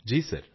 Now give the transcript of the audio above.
ਜੀ ਜੀ